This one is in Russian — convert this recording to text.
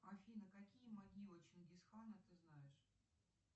афина какие могилы чингисхана ты знаешь